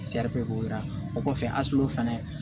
o kɔfɛ fana